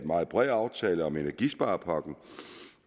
meget bred aftale om energisparepakken